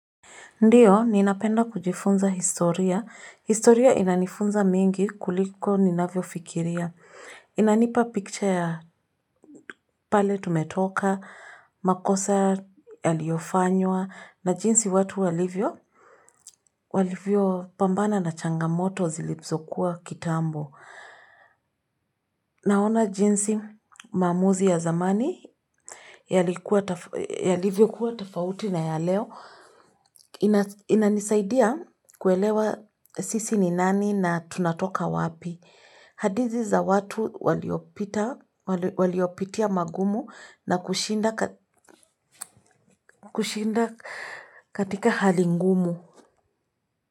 Ndiyo, ninapenda kujifunza historia. Historia inanifunza mingi kuliko ninavyofikiria. Inanipa picture ya pale tumetoka, makosa yaliyofanywa, na jinsi watu walivyo. Walivyopambana na changamoto zilizokuwa kitambo. Naona jinsi mamuzi ya zamani. Yalivyokuwa tofauti na ya leo. Inanisaidia kuelewa sisi ni nani na tunatoka wapi. Hadithi za watu waliopitia magumu nakushinda kushinda katika hali ngumu.